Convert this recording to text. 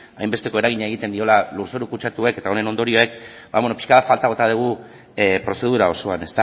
hainbesteko eragina egiten diola lurzoru kutsatuek eta honen ondorioek ba pixka bat faltan bota dugu prozedura osoan